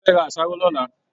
A fẹ ra àṣàrò l'ọla.